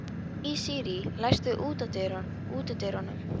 Asírí, læstu útidyrunum.